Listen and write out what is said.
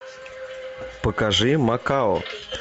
покажи макао